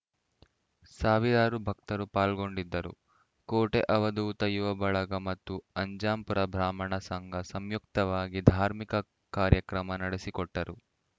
ಸಾವಿರಾರು ಭಕ್ತರು ಪಾಲ್ಗೊಂಡಿದ್ದರು ಕೋಟೆ ಅವಧೂತ ಯುವ ಬಳಗ ಮತ್ತು ಅಜ್ಜಂಪುರ ಬ್ರಾಹ್ಮಣ ಸಂಘ ಸಂಯುಕ್ತವಾಗಿ ಧಾರ್ಮಿಕ ಕಾರ್ಯಕ್ರಮ ನಡೆಸಿಕೊಟ್ಟರು